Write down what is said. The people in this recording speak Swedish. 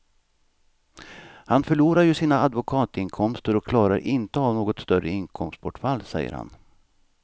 Han förlorar ju sina advokatinkomster och klarar inte av något större inkomstbortfall, säger han.